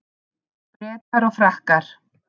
Bretar og Frakkar